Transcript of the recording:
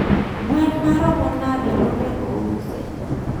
Gwen maromo nade monego ousi?